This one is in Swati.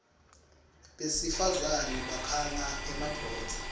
besifazane bakhanga emadvodza